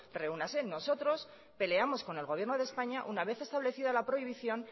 reúnase nosotros peleamos con el gobierno de españa una vez establecida la prohibición